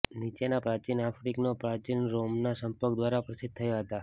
નીચેના પ્રાચીન આફ્રિકનો પ્રાચીન રોમના સંપર્ક દ્વારા પ્રસિદ્ધ થયા હતા